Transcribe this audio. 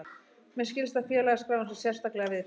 Mér skilst að félagaskráin sé sérstaklega viðkvæm